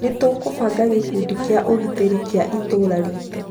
nĩ tũkũbanga gĩkundi gĩa ũgitĩri gĩa itũũra riitũ